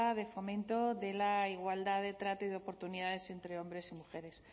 de fomento de la igualdad de trato y oportunidades entre hombres y mujeres